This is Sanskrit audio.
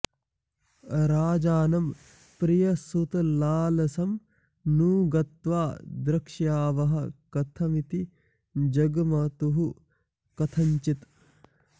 राजानं प्रियसुतलालसं नु गत्वा द्रक्ष्यावः कथमिति जग्मतुः कथञ्चित्